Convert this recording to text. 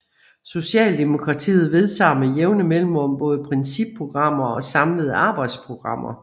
Socialdemokratiet vedtager med jævne mellemrum både principprogrammer og samlede arbejdsprogrammer